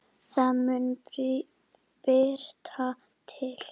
Það mun birta til.